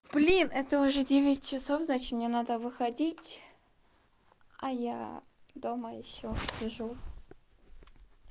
блин это уже девять часов значит мне надо выходить а я дома ещё сижу